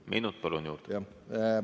Minut juurde, palun!